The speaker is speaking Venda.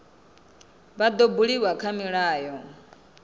vha dzo buliwa kha milayo